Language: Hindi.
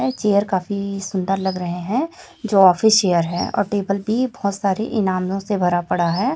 ये चेयर काफी सुंदर लग रहे हैं जो ऑफिस चेयर है और टेबल भी बहोत सारे इनामों से भरा पड़ा है।